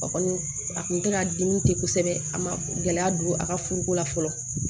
A kɔni a tun tɛ ka dimi te kosɛbɛ a ma gɛlɛya don a ka furuko la fɔlɔ